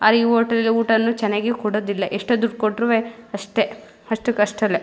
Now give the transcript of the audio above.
ಅರೆಈ ಹೋಟೆಲ್ಲ ಊಟಾನ್ನು ಚೆನ್ನಗಿ ಕೊಡೋದಿಲ್ಲ ಎಷ್ಟೋ ದುಡ್ ಕೊಟ್ರವೇ ಅಷ್ಟೇ ಅಷ್ಟಕ್ ಅಷ್ಟ್ರಲ್ಲೆ.